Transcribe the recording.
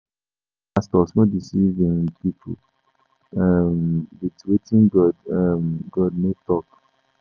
Make pastors no deceive um pipo um wit wetin God no God no tok.